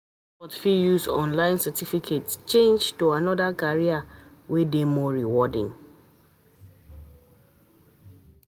Adults fit use online certificate change to another career wey dey more rewarding